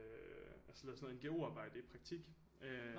Altså sådan noget sådan noget NGO arbejde i praktik øh